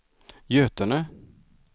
Götene